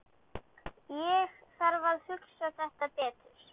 Ég þarf að hugsa þetta betur.